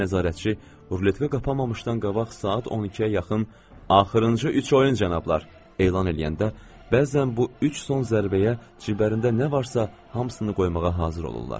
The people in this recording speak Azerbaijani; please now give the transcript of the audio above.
Baş nəzarətçi ruletka qapanmamışdan qabaq saat 12-yə yaxın, “Axırıncı üç oyun, cənablar!” elan eləyəndə, bəzən bu üç son zərbəyə ciblərinə nə varsa hamısını qoymağa hazır olurdular.